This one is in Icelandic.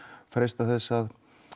freista þess að